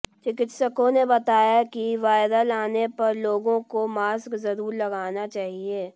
चिकित्सकों ने बताया कि वायरल आने पर लोगों को मास्क जरूर लगाना चाहिए